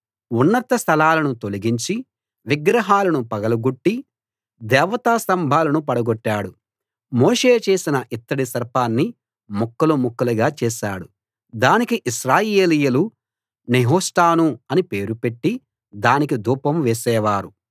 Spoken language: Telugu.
ఉన్నత స్థలాలను తొలగించి విగ్రహాలను పగలగొట్టి దేవతా స్తంభాలను పడగొట్టాడు మోషే చేసిన ఇత్తడి సర్పాన్ని ముక్కలు ముక్కలు చేశాడు దానికి ఇశ్రాయేలీయులు నెహుష్టాను అని పేరు పెట్టి దానికి ధూపం వేసేవారు